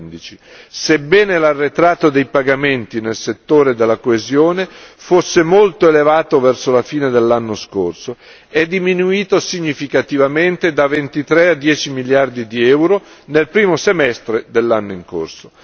2015. Sebbene l'arretrato dei pagamenti nel settore della coesione fosse molto elevato verso la fine dell'anno scorso, è diminuito significativamente da 23 a 10 miliardi di euro nel primo semestre dell'anno in corso.